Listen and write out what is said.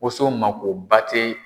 woso makoba tɛ.